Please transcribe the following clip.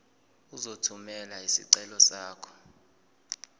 uzothumela isicelo sakho